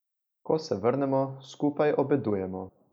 Ko se vrnemo, skupaj obedujemo.